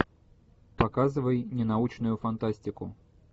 показывай ненаучную фантастику